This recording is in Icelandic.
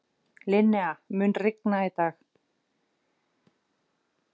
Linnea, mun rigna í dag?